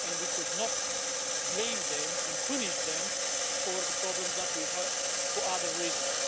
We cannot blame them and punish them for the problems that we have for other reasons.